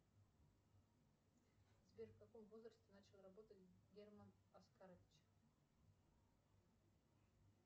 сбер в каком возрасте начал работать герман оскарович